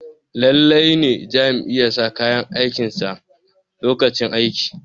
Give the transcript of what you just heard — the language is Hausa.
lallai ne Jami'i ya sa kayan aikinsa lokacin aiki